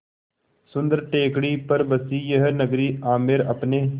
सुन्दर टेकड़ी पर बसी यह नगरी आमेर अपने